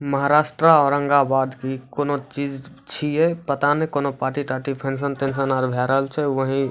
महाराष्ट्रा औरंगाबाद की कोनो चीज छीये पता ने कोनो पार्टी ताटि फंक्शन तंशन आर भे रहल छै वही --